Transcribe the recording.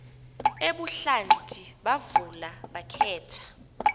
ebuhlanti bavula bakhetha